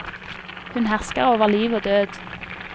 Hun hersker over liv og død.